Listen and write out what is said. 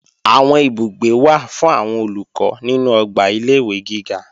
Àwọn ibùgbé wà fún àwọn Olùkọ́ nínú ọgbà ilé-ìwé giga